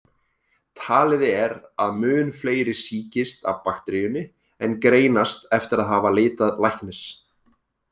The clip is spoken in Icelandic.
Talið er að mun fleiri sýkist af bakteríunni en greinast eftir að hafa leitað læknis.